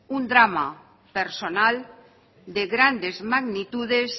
un drama personal de grandes magnitudes